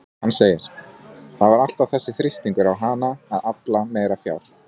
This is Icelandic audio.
Hann segir: Það var alltaf þessi þrýstingur á hana að afla meira fjár